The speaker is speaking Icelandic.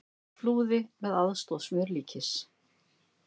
Flúði með aðstoð smjörlíkis